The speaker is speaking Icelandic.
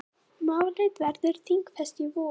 Málið verður þingfest í vor.